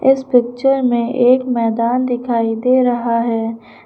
इस पिक्चर में एक मैदान दिखाई दे रहा है।